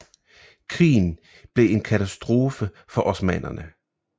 Krigen blev en katastrofe for osmannerne